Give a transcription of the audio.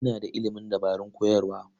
Ina da ilimin dabarun koyarwa.